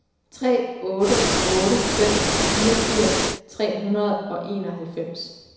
tre otte otte fem fireogfirs tre hundrede og enoghalvfems